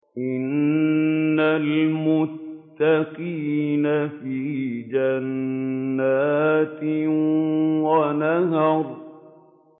إِنَّ الْمُتَّقِينَ فِي جَنَّاتٍ وَنَهَرٍ